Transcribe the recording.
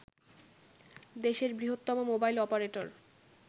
দেশের বৃহত্তম mobile operator